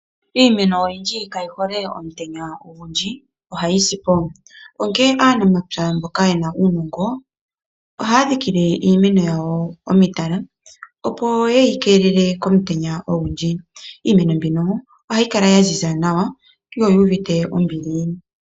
Iimeno oyindji kayi hole omutenya ogundji ohayi sipo onkee aanamapya mboka yena uunongo ohaa dhikile uumeno wawo uutala opo yeyi keelele komutenya ogundji ,iimeno mbino ohayi kala ya ziza nawa yo oyu uvite ombili.